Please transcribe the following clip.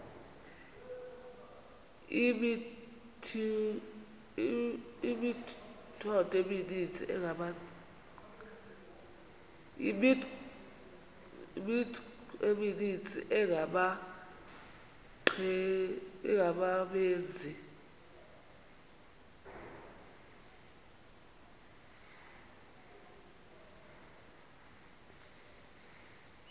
imithqtho emininzi engabaqbenzi